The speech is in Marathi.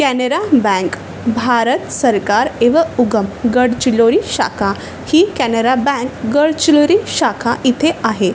कॅनरा बँक भारत सरकार एवं उगम गडचिरोली शाखा ही कॅनरा बँक गडचिरोली शाखा इथे आहे.